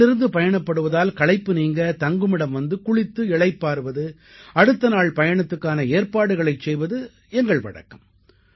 காலையிலிருந்து பயணப்படுவதால் களைப்பு நீங்க தங்குமிடம் வந்து குளித்து இளைப்பாறுவது அடுத்த நாள் பயணத்துக்கான ஏற்பாடுகளைச் செய்வது எங்கள் வழக்கம்